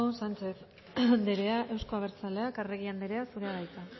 sánchez andrea euzko abertzaleak arregi andrea zurea da hitza